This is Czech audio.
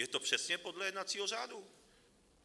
Je to přesně podle jednacího řádu.